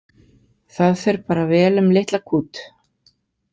Það fer bara vel um litla kút